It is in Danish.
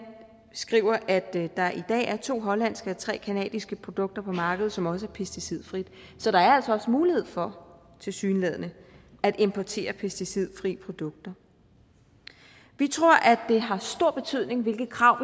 as skriver at der i dag er to hollandske og tre canadiske produkter på markedet som også er pesticidfri så der altså også mulighed for tilsyneladende at importere pesticidfri produkter vi tror at det har stor betydning hvilke krav